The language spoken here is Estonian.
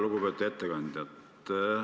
Lugupeetud ettekandja!